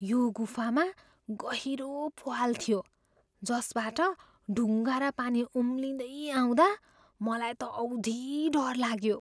यो गुफामा गहिरो प्वाल थियो जसबाट ढुङ्गा र पानी उम्लिँदै आउँदा मलाई त औधी डर लाग्यो।